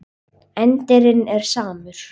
Endirinn er samur.